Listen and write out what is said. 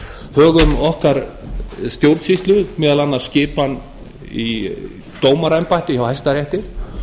högum okkar stjórnsýslu meðal annars skipan í dómaraembætti hjá hæstarétti